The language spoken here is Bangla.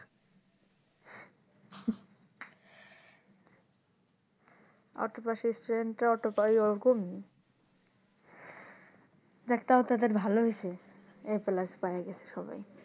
autobus stand টা ওইরকম যাক তও তাদের ভালো হইছে A positive পাইয়ে গেছে সবাই